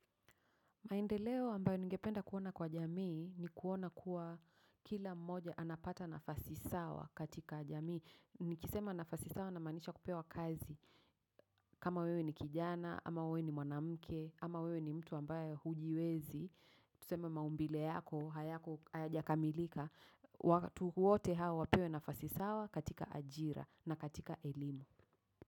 Maendeleo ambayo ningependa kuona kwa jamii ni kuona kuwa kila mmoja anapata nafasi sawa katika jamii. Nikisema nafasi sawa namaanisha kupewa kazi. Kama wewe ni kijana, ama wewe ni mwanamke ama wewe ni mtu ambayo hujiwezi. Tuseme maumbile yako hayako hayajakamilika. Watu wote hawa wapewe nafasi sawa katika ajira na katika elimu.